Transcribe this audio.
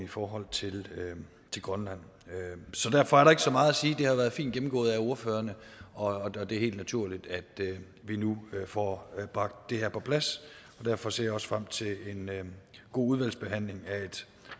i forhold til grønland derfor er der ikke så meget at sige det har været fint gennemgået af ordførerne og det er helt naturligt at vi nu får bragt det her på plads derfor ser jeg også frem til en god udvalgsbehandling af et